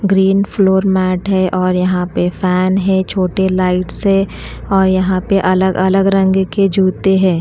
Green floor mat है और यहां पे फैन है छोटे लाइट्स है और यहां पे अलग अलग रंग के जूते है।